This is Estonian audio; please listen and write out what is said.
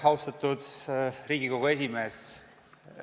Austatud Riigikogu esimees!